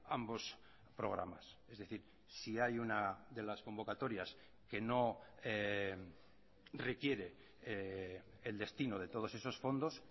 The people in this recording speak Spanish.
ambos programas es decir si hay una de las convocatorias que no requiere el destino de todos esos fondos